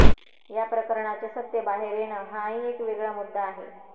या प्रकरणाचे सत्य बाहेर येणं हा ही एक वेगळा मुद्दा आहे